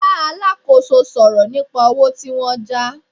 Bá alákòóso sọ̀rọ̀ nípa owó tí wọ́n já